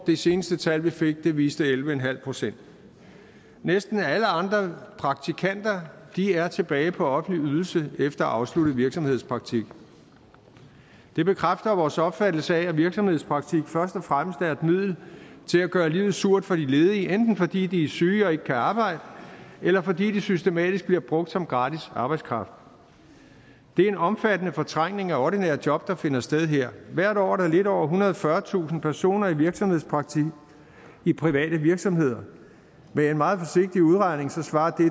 det seneste tal vi fik viste elleve en halv procent næsten alle andre praktikanter er tilbage på offentlige ydelser efter afsluttet virksomhedspraktik det bekræfter vores opfattelse af at virksomhedspraktik først og fremmest er et middel til at gøre livet surt for de ledige enten fordi de er syge og ikke kan arbejde eller fordi de systematisk bliver brugt som gratis arbejdskraft det er en omfattende fortrængning af ordinære job der finder sted her hvert år er der lidt over ethundrede og fyrretusind personer i virksomhedspraktik i private virksomheder med en meget forsigtig udregning svarer